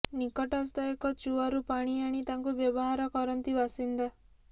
ନିକଟସ୍ଥ ଏକ ଚୁଆରୁ ପାଣି ଆଣି ତାକୁ ବ୍ୟବହାର କରନ୍ତି ବାସିନ୍ଦା